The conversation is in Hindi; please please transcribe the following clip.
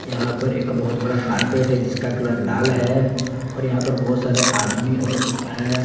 यहां पर एक बहोत बड़ा कारपेट है जिसका कलर लाल है और यहां पर बहोत सारे आदमी और है।